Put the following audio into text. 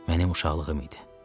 Mənim uşaqlığım idi.